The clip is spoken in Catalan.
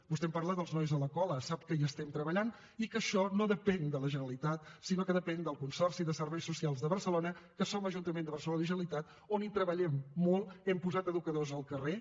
vostè em parla dels nois de la cola sap que hi estem treballant i que això no depèn de la generalitat sinó que depèn del consorci de serveis socials a barcelona que som ajuntament de barcelona i generalitat on treballem molt hem posat educadors als carrers